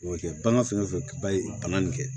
O bɛ kɛ bagan fɛn o fɛn ba ye bana nin kɛ